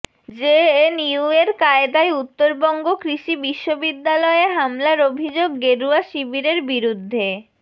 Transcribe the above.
জেএনইউয়ের কায়দায় উত্তরবঙ্গ কৃষি বিশ্ববিদ্যালয়ে হামলার অভিযোগ গেরুয়া শিবিরের বিরুদ্ধে